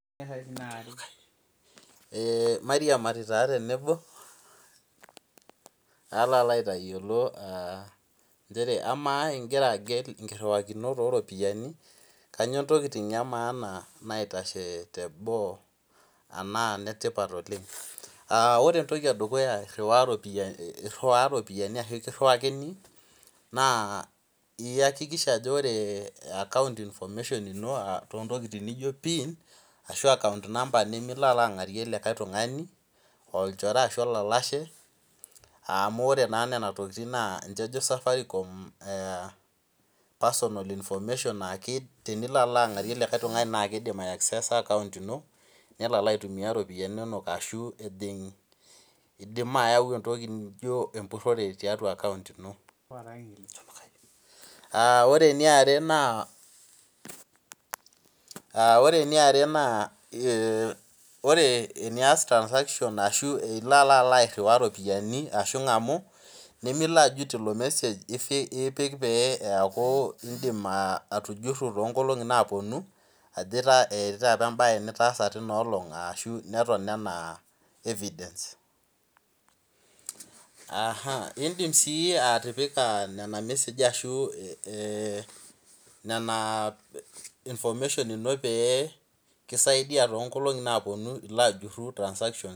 Mairiamari taa tenebo alo aitayiolo nchere amaa igira agel inkirhiwarikinot oropiyiani kainyoo intokiting emaana naidim aitashe teboo anaa inetipat oleng Ore entoki edukuya irhiwaa ropiani ashu kirhiwakini naa iyakikisha ajo ore account information ino too ntokiting nijon pin ashu account number nilo alalo ang'arie likai tung'ani olchore ashu olalashe amu ore naa nena tokiting naa ninche ejo Safaricom personal information naa tinilo alaang'arie likai tung'ani naa kiidim aiakseesa account ino nelo alalo aitumia iropiyiani inonok ashu idim ayau entoki naijo emburhore tiatua account ino Ore eniare naa ore enias transaction ashu ilo airhiwaa iropiyiani ashu ing'amu nimilo ajut ilo mesej ipik pee eeku in'dim aatujurhu toonkolongi naapuonu ajo etii taata em'bae nitaasa tina olong' ashu neton enaaevidence In'dim sii atipika nena meseji ashu nena information ino toongolongi naapuonu ilo ajurhu transaction